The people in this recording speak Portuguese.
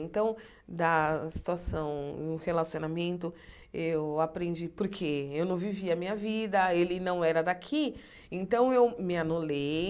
Então, da situação, no relacionamento, eu aprendi porque eu não vivia a minha vida, ele não era daqui, então eu me anulei.